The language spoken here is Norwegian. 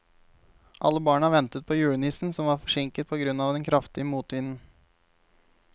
Alle barna ventet på julenissen, som var forsinket på grunn av den kraftige motvinden.